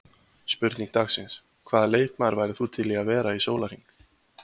Spurning dagsins: Hvaða leikmaður værir þú til í að vera í sólarhring?